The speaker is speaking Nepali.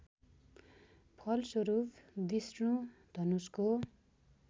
फलस्वरूप विष्णु धनुषको